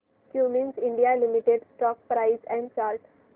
Cummins India limited stock price and chart